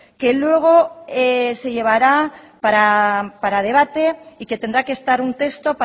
que luego se llevará para debate y que tendrá que estar un texto